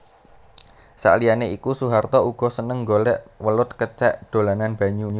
Saliyané iku Soeharto uga seneng golèk welut kecèk dolanan banyu